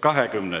20.